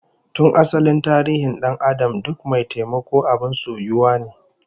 Tun asalin tarihin dan'adam duk mai taimako abin soyuwa ne